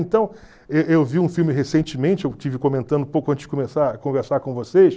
Então, e eu vi um filme recentemente, eu estive comentando pouco antes de começar a conversar com vocês.